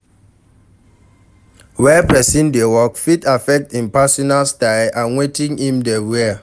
Where person dey work fit affect im personal style and wetin im dey wear